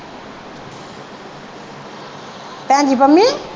ਭੈਣਜੀ ਪੰਮੀ